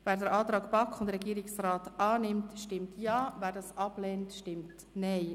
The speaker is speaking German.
Wer den Antrag BaK und Regierungsrat zu Artikel 39a (neu) annimmt, stimmt Ja, wer dies ablehnt, stimmt Nein.